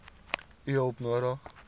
u hulp nodig